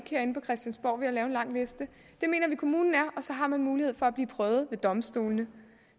lave en lang liste det mener vi kommunen er og så har man mulighed for at blive prøvet ved domstolene